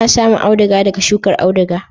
Ana samun auduga daga shukar auduga.